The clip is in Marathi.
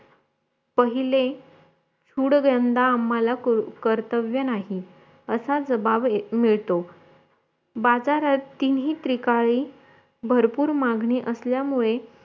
पहिले सूडव्यांधा आम्हाला कर्तव्य नाही असा जवाब मिळतो बाजारात तीनही त्रिकाळी भरपूर मागणी असल्यामुळे